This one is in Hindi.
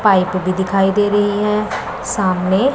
पाइप भी दिखाई दे रही हैं सामने--